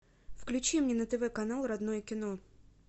включи мне на тв канал родное кино